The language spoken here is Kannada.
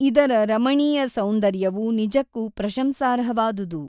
ಇದರ ರಮಣೀಯ ಸೌಂದರ್ಯವು ನಿಜಕ್ಕೂ ಪ್ರಶಂಸಾರ್ಹವಾದುದು.